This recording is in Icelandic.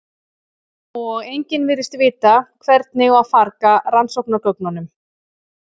og enginn virðist vita hvernig á að farga rannsóknargögnunum